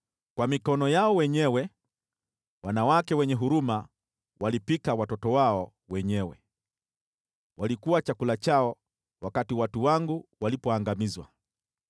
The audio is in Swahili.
Kwa mikono yao wenyewe wanawake wenye huruma wanapika watoto wao wenyewe, waliokuwa chakula chao watu wangu walipoangamizwa.